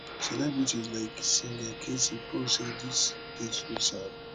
celebrities like singer kcee post say dis dey too sad